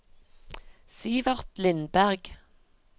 Sivert Lindberg